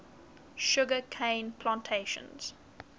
sugar cane plantations